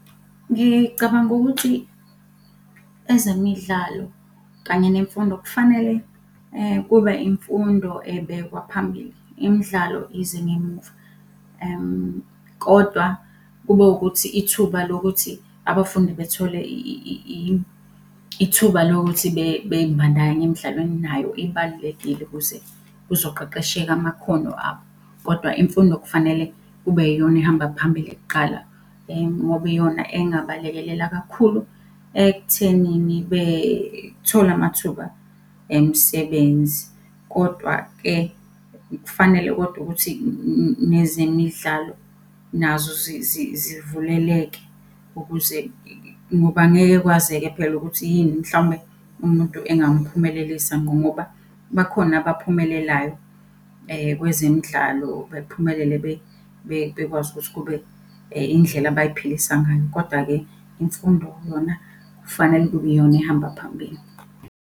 Ngicabanga ukuthi ezemidlalo kanye nemfundo kufanele kube imfundo ebekwa phambili, imidlalo ize ngemuva. Kodwa kube ukuthi ithuba lokuthi abafundi bethole ithuba lokuthi bey'bandakanye emidlalweni nayo ibalulekile ukuze kuzoqeqesheka amakhono abo. Kodwa imfundo kufanele kube yiyona ehamba phambili kuqala, ngoba iyona engabalekelela kakhulu ekuthenini bethole amathuba emisebenzi. Kodwa-ke kufanele kodwa ukuthi nezemidlalo nazo zivuleleke ukuze, ngoba angeke kwazeke phela ukuthi yini mhlawumbe umuntu engamphumelelisa ngqo ngoba bakhona abaphumelelayo, kwezemidlalo bephumelele, bekwazi ukuthi kube indlela abay'philisa ngayo. Koda-ke imfundo yona kufanele kube yiyona ehamba phambili.